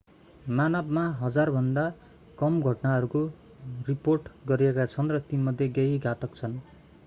मानवमा हजारभन्दा कम घटनाहरू रिपोर्ट गरिएका छन् र तीमध्ये केही घातक छन्